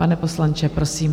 Pane poslanče, prosím.